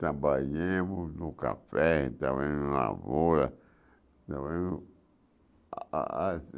Trabalhamos no café, trabalhamos na lavoura, trabalhamos a a